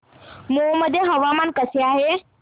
मौ मध्ये हवामान कसे आहे